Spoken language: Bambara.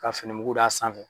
Ka fini muku da sanfɛ.